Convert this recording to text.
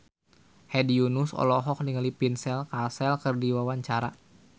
Hedi Yunus olohok ningali Vincent Cassel keur diwawancara